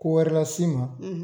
Ko wɛrɛ las'i ma.